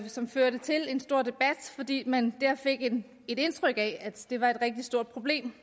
som førte til en stor debat fordi man der fik et indtryk af at det var et rigtig stort problem